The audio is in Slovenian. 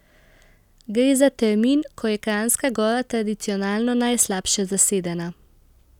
Gre za termin, ko je Kranjska Gora tradicionalno najslabše zasedena.